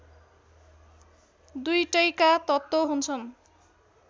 दुईटैका तत्त्व हुन्छन्